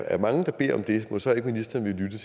er mange der beder om det mon så ikke ministeren ville